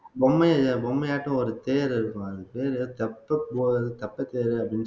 பொம்மைய பொம்மையாட்டும் ஒரு தேர் இருக்கும் அது பேரு தப்பு